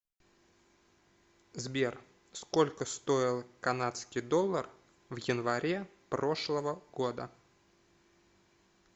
сбер сколько стоил канадский доллар в январе прошлого года